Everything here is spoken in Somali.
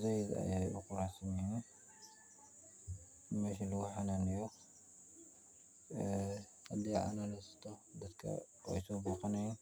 saaid ayay u quruxsanyihin, masha lagu xananayo aah hadii dadka way soo boqanayin.